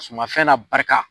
Sumafɛn n'a barika.